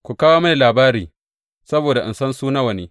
Ku kawo mini labarin saboda in san su nawa ne.